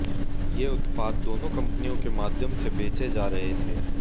ये उत्पाद दोनों कंपनियों के माध्यम से बेचे जा रहे थे